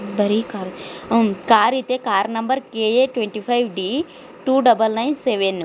ಒಂದು ಕಾರ್ ಇದೆ car number KA twenty five D two double nine seven.